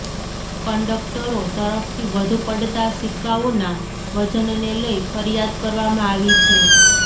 કન્ડક્ટરો તરફથી વધુ પડતા સિક્કાઓના વજનને લઇ ફરિયાદ કરવામાં આવી છે